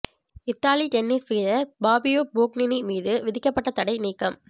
Italy tennis வீரர் Fabio Fognini மீது விதிக்கப்பட்ட தடை நீக்கம்